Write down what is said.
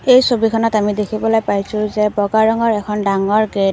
এই ছবিখনত আমি দেখিবলৈ পাইছোঁ যে বগা ৰঙৰ এখন ডাঙৰ গেট ।